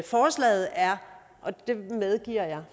forslaget er og det medgiver jeg